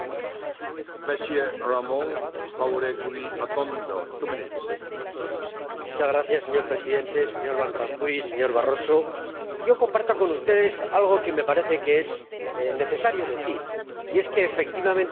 Señor Presidente, señor Van Rompuy, señor Barroso, yo comparto con ustedes algo que me parece que es necesario decir, y es que, efectivamente, en la reunión del pasado jueves, el Consejo Europeo tomó decisiones muy importantes,